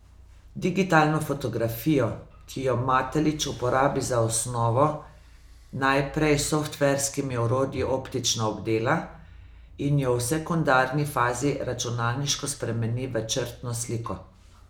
Digitalno fotografijo, ki jo Matelič uporabi za osnovo, najprej s softverskimi orodji optično obdela in jo v sekundarni fazi računalniško spremeni v črtno sliko.